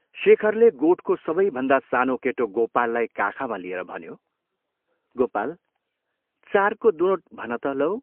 शेखरले गोठको सबैभन्दा सानो केटो गोपाललाई काखमा लिएर भन्यो, " गोपाल, चारको दुनोट भन त लौ!